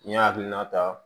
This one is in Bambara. N'i y'a hakilina ta